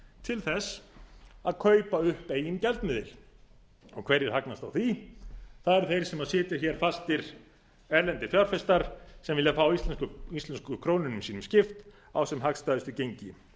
til að kaupa upp eigin gjaldmiðil hverjir hagnast á því það eru þeir sem sitja fastir erlendir fjárfestar sem vilja fá íslensku krónunum sínum skipt á sem hagstæðustu gengi